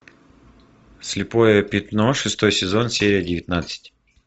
слепое пятно шестой сезон серия девятнадцать